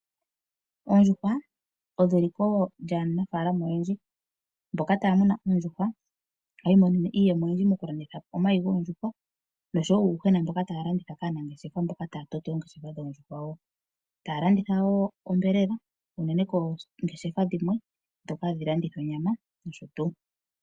Oondjuhwa odho eliko lyaanafaalama oyendji. Mboka taya muna oondjuhwa ohaya i monene mo iiyemo oyindji moku landitha omayi goondjuhwa noshowo uuyuhwena mboka taya landitha kaanangeshefa mboka opo taya toto oongeshefa dhoondjuhwa dhawo. Taya landitha wo onyama unene koongeshefa dhimwe ndhoka hadhi landitha onyama.